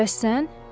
Bəs sən?